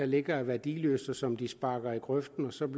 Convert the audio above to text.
ligger og er værdiløst og som den pågældende sparker i grøften og som